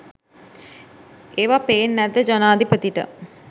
ඒව පේන් නැද්ද ජනාධිපතිට?